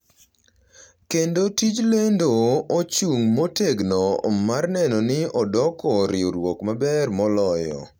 kendo tij lendo ochung’ motegno mar neno ni odoko riwruok maber moloyo.